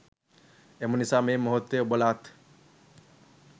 එමනිසා මේ මොහොතේ ඔබලාත්